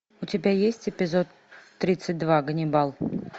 у тебя есть эпизод тридцать два ганнибал